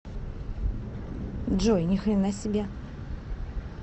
джой ни хрена себе